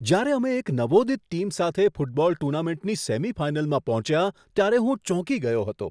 જ્યારે અમે એક નવોદિત ટીમ સાથે ફૂટબોલ ટૂર્નામેન્ટની સેમિફાઇનલમાં પહોંચ્યા ત્યારે હું ચોંકી ગયો હતો.